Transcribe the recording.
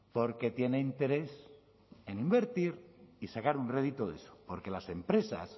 porque tiene interés en invertir y sacar un rédito de eso porque las empresas